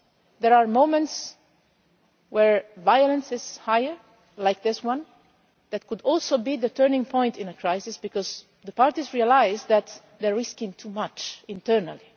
There are moments where violence is higher, like this one, that could also be the turning point in a crisis because the parties realise that they are risking too much internally.